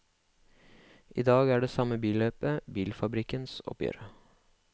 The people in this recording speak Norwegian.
I dag er det samme billøpet bilfabrikkenes oppgjør.